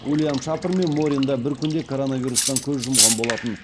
уильям шапр мен морин да бір күнде коронавирустан көз жұмған болатын